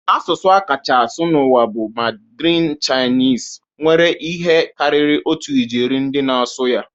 Asụsụ a kacha asụ n'ụwa bụ Mandarin Chinese, nwere ihe karịrị otu ijeri ndị na-asụ ya